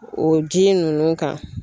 O ji ninnu kan.